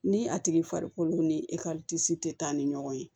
Ni a tigi farikolo ni tɛ taa ni ɲɔgɔn ye